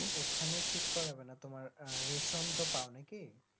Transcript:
ওখানে ঠিক করবেনা তোমার রেশন তো পাও নাকি